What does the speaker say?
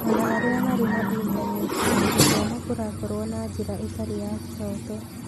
O na arĩa marĩ na Intaneti, gũthoma kũrakorwo na njĩra ĩtarĩ ya kĩhooto.